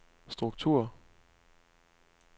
struktur